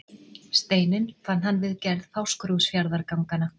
Steininn fann hann við gerð Fáskrúðsfjarðarganganna.